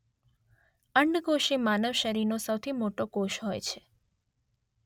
અંડકોષ એ માનવ શરીરનો સૌથી મોટો કોષ હોય છે.